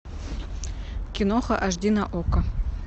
киноха аш ди на окко